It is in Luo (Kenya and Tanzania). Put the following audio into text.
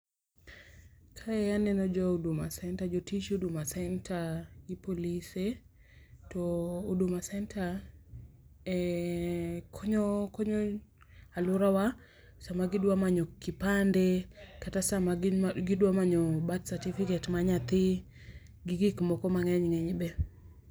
Kae aneno jo Huduma Center, jotij Huduma Center, gi polise to Huduma Center, konyo, aluorawa sa ma gi dwa manyo kipande, sama gidwa manyo birth certificate mar nyathi gi gik moko mang'eny ng'eny be.